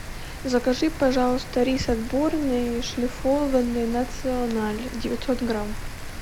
закажи пожалуйста рис отборный шлифованный националь девятьсот грамм